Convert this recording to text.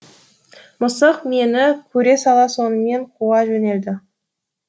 мысық мені көре сала сонымен қуа жөнелді